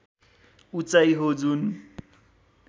उचाइ हो जुन